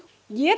ég